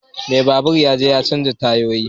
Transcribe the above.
Mai babur ya je ya canza tayoyin.